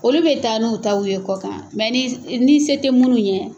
Olu bɛ taa n'u taw ye kɔ kan, nka ni se tɛ minnu ye